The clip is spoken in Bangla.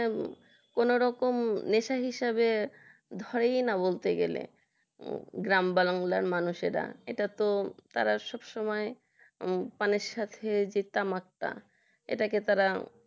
কোনরকম নেশা হিসেবে ধরে না বলতে গেলে গ্রাম বাংলার মানুষেরা সেটা তো তারা সব সময় পানের সাথে যেতাম একটা এটাকে তারা তারা